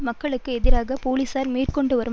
மக்களுக்கு எதிராக போலீசார் மேற்கொண்டு வரும்